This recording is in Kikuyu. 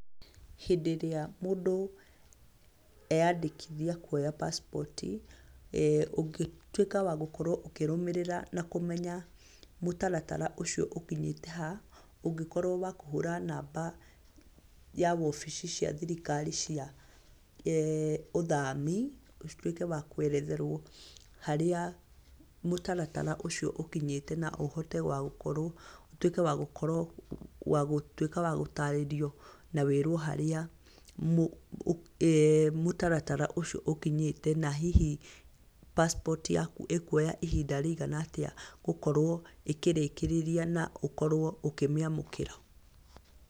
Hĩndĩ ĩrĩa mũndũ eyandĩkithia kuoya pacipoti, ũngĩtuĩka wa gũkorwo ũkĩrũmĩrĩra na kũmenya mũtaratara ũcio ũkĩnyĩte ha, ũngĩkorwo wa kũhũra namba ya wobici cia thirikari cia ũthami. Ũtuĩke wa kũeretherwo harĩa mũtaratara ũcio ũkinyĩte, na ũhote wa gũkorwo, ũtuĩke wa gũkorwo wa gũtuĩka wa gũtarĩrio na wĩĩrwo harĩa mũtaratara ũcio ũkinyĩte, na hihi pasipotii yaku ĩkuoya ihinda rĩigana atĩa gũkorwo ĩkĩrĩkĩrĩria, na ũkorwo ũkĩmĩamũkĩra.